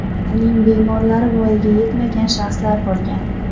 Uning bemorlari voyaga yetmagan shaxslar bo‘lgan.